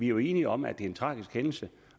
jo enige om at det er en tragisk hændelse